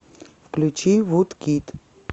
включи вудкид